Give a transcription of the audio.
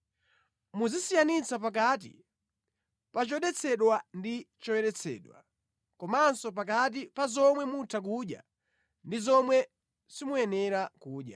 Muzisiyanitsa pakati pa chodetsedwa ndi choyeretsedwa, komanso pakati pa zomwe mutha kudya ndi zomwe simuyenera kudya.’ ”